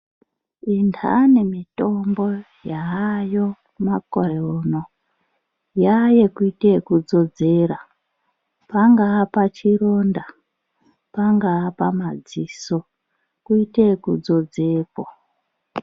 Indhani mitombo yaayo makore uno yaayekuite yekudzodzera. Pangaa pachironda, pangaa pamadziso, kuite yekudzodzepo.